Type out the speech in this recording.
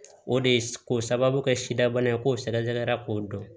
O de ye k'o sababu kɛ sidaba ye k'o sɛgɛsɛgɛra k'o dɔn